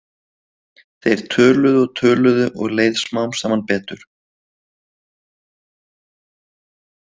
Þeir töluðu og töluðu og leið smám saman betur.